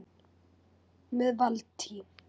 Með Valtý